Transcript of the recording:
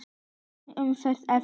Ein umferð eftir.